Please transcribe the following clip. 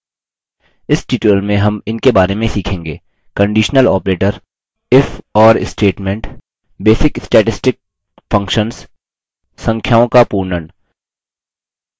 इस tutorial में हम in बारे में सीखेंगे: